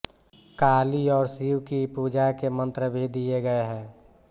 काली और शिव की पूजा के मन्त्र भी दिए गए हैं